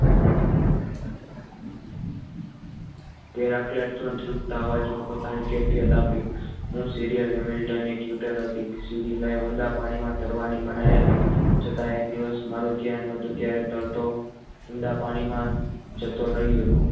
દુખતા આ વાતમાં પોતાની કેફિયત આપી serial હતી શરીરને ઊંડા પાણીમાં તરવાની મનાઈ હતી છતાં એક દિવસ મારું ધ્યાન ન હતું તે દિવસ ધરતો ઉંડા પાણીમાં જતો રહ્યો.